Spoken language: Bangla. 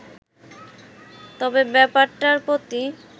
তবে ব্যাপারটার প্রতি